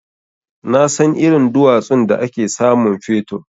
Nasan irin duwatsun da ake samun fetur.